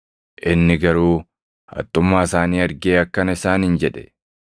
Inni garuu haxxummaa isaanii argee akkana isaaniin jedhe;